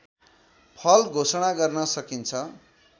फल घोषणा गर्न सकिन्छ